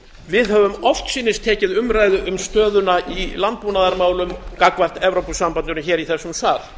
við höfum oftsinnis tekið stöðuna í landbúnaðarmálum gagnvart evrópusambandinu hér í þessum sal